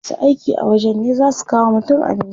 Masu aiki a wajen ne zaa su kawo wa mutum abinci.